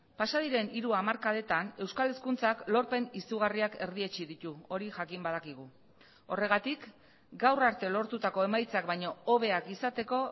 pasa diren hiru hamarkadetan euskal hezkuntzak lorpen izugarriak erdietsi ditu hori jakin badakigu horregatik gaur arte lortutako emaitzak baino hobeak izateko